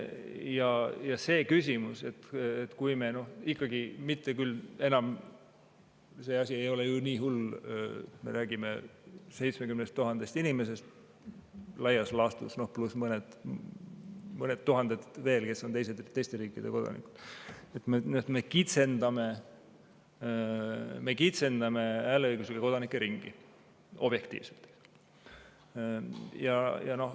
On tõesti see küsimus, et me ikkagi – enam see asi ei ole küll nii hull – räägime 70 000 inimesest laias laastus, pluss mõned tuhanded veel, kes on teiste riikide kodanikud, ja kitsendame hääleõiguslike kodanike ringi, kui objektiivselt võtta.